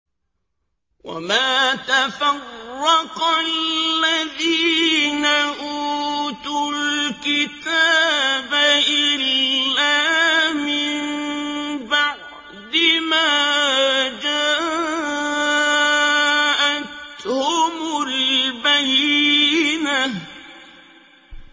وَمَا تَفَرَّقَ الَّذِينَ أُوتُوا الْكِتَابَ إِلَّا مِن بَعْدِ مَا جَاءَتْهُمُ الْبَيِّنَةُ